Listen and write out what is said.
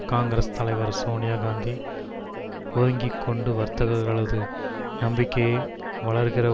காங்கிரஸ் தலைவர் சோனியா காந்தி ஒதுங்கிக்கொண்டு வர்த்தகர்களது நம்பிக்கையை வளர்க்கிற